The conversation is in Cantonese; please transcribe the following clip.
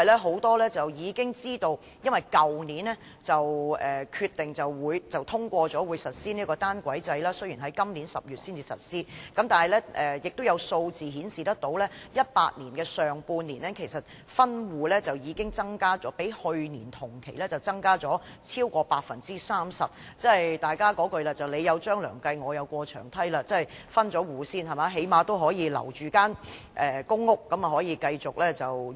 很多人已知道，當局去年已通過決定，將於今年10月實施單軌制，但有數字顯示 ，2018 年上半年的分戶個案數目較去年同期增加超過 30%， 即所謂"你有張良計，我有過牆梯"，先分戶，最低限度可以留住公屋單位繼續自用。